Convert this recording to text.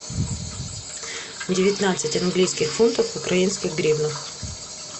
девятнадцать английских фунтов в украинских гривнах